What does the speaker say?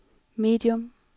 medium